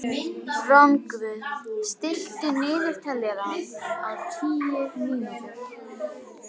Rongvuð, stilltu niðurteljara á tíu mínútur.